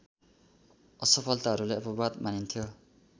असफलताहरूलाई अपवाद मानिन्थ्यो